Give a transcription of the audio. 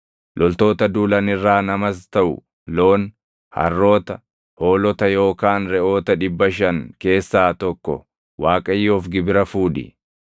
Loltoota duulan irraa namas taʼu loon, harroota, hoolota yookaan reʼoota dhibba shan keessaa tokko Waaqayyoof gibira fuudhi.